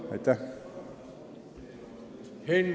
Aitäh!